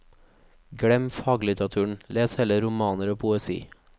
Glem faglitteraturen, les heller romaner og poesi.